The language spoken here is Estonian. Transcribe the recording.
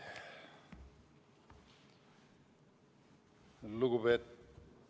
Palun!